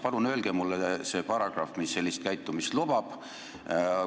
Palun öelge mulle see paragrahv, mis sellist käitumist lubab!